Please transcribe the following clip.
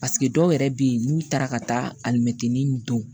Paseke dɔw yɛrɛ bɛ yen n'u taara ka taa alimɛtinin don